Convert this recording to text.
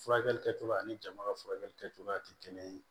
Furakɛli kɛcogoya ani jama ka furakɛli kɛcogoya tɛ kelen ye